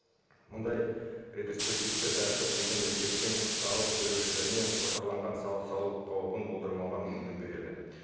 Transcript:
мұндай ретроспективті тәртіп екі мемлекеттің салық төлеушілеріне қосарланған салық салу қаупін болдырмауға мүмкіндік береді